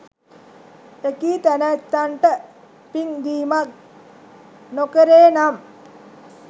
එකී තැනැත්තන්ට පින් දීමක් නොකෙරේ නම්